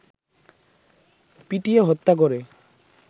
পিটিয়ে হত্যা করে